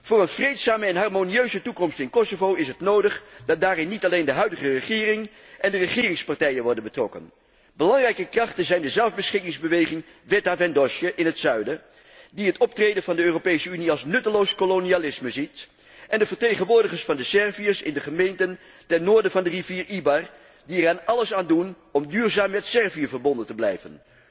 Voor een vreedzame en harmonieuze toekomst in Kosovo is het nodig dat daarbij niet alleen de huidige regering en de regeringspartijen worden betrokken. Belangrijke krachten zijn de zelfbeschikkingsbeweging Vetëvendosje in het zuiden, die het optreden van de Europese Unie als nutteloos kolonialisme ziet, en de vertegenwoordigers van de Serviërs in de gemeenten ten noorden van de rivier de Ibar, die er alles aan doen om duurzaam met Servië verbonden te blijven.